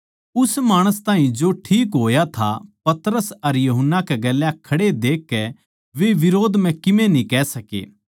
उस माणस ताहीं जो ठीक होया था पतरस अर यूहन्ना कै गेल्या खड़े देखकै वे बिरोध म्ह कीमे न्ही कह सके